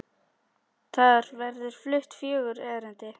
Þar verða flutt fjögur erindi.